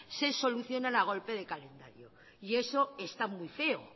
se solucionan a golpe de talonario y eso está muy feo